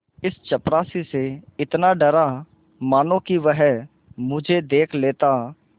इस चपरासी से इतना डरा मानो कि वह मुझे देख लेता